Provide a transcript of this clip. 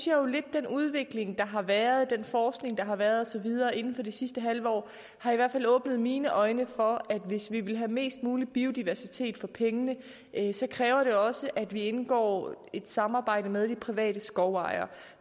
jo lidt at den udvikling der har været og den forskning der har været og så videre inden for det sidste halve år i har åbnet mine øjne for at hvis vi vil have mest mulig biodiversitet for pengene kræver det også at vi indgår et samarbejde med de private skovejere